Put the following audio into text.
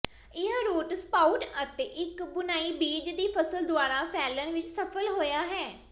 ਇਹ root sprout ਅਤੇ ਇੱਕ ਬੁਣਾਈ ਬੀਜ ਦੀ ਫਸਲ ਦੁਆਰਾ ਫੈਲਣ ਵਿੱਚ ਸਫਲ ਹੋਇਆ ਹੈ